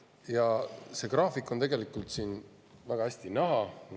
See graafik on siin väga hästi näha.